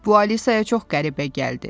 Bu Alisaya çox qəribə gəldi.